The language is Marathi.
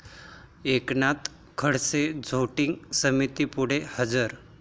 एकनाथ खडसे झोटिंग समितीपुढे हजर